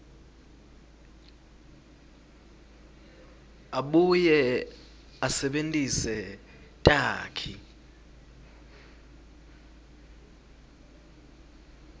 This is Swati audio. abuye asebentise takhi